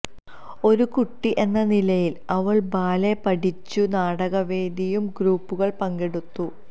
ഒരു കുട്ടി എന്ന നിലയിൽ അവൾ ബാലെ പഠിച്ചു നാടകവേദിയും ഗ്രൂപ്പുകൾ പങ്കെടുത്തു